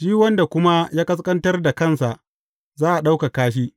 Shi wanda kuma ya ƙasƙantar da kansa, za a ɗaukaka shi.